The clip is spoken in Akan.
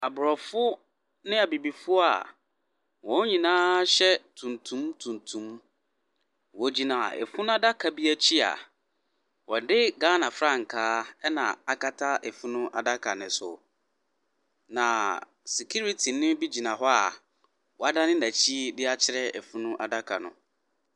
Abrɔfo ne abibifo a wɔn ninaa hyɛ tuntum tuntum, wɔ gyina afunu adaka bi akyi a wɔde Ghana frankaa ɛna akata afunu adaka no so. Na sikiritini be gyina hɔ a wadane nakyi akyerɛ afunu adaka no.